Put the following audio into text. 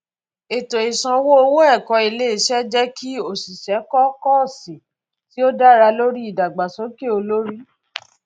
ètò ìsanwó owó ẹkọ iléiṣẹ jẹ kí òṣìṣẹ kọ kóọsì tí ó dá lórí ìdàgbàsókè olórí